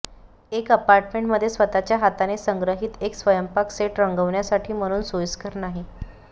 एक अपार्टमेंट मध्ये स्वतःच्या हाताने संग्रहित एक स्वयंपाक सेट रंगविण्यासाठी म्हणून सोयीस्कर नाही